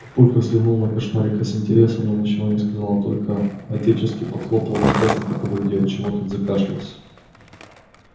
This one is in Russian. папулька взглянул на кошмарика с интересом но ничего не сказал а только отечески похлопал одноклассника по груди от чего тот закашлялся